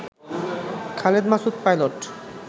Khaled Masud pilot